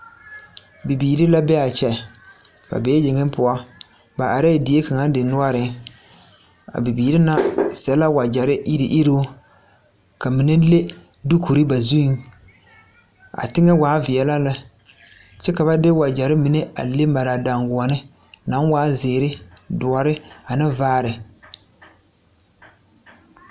Bibiiri la be a kye ba bee yeŋɛ poɔ ba arɛɛ die kaŋa dendɔɔreŋ a bibiiri na sɛ la wagyɛre iruu iruu ka mine le duukore ba zuiŋ a teŋɛ waa veɛlɛ lɛ kyɛ ka ba de wagyɛre mine a le mare a daŋkoɔne naŋ waa zeere doɔre ane vaare.